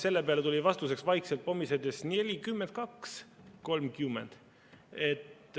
" Selle peale tuli vastuseks vaikselt pomisedes: "Njelikjümmjend kjaks kjolmkjümmjend.